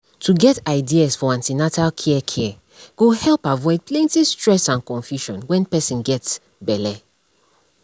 to get ideas for an ten atal care care go help avoid plenty stress and confusion when person get belle